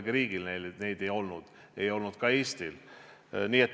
Aga ühelgi riigil neid ei olnud, ei olnud ka Eestil.